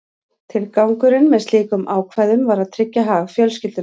Tilgangurinn með slíkum ákvæðum var að tryggja hag fjölskyldunnar.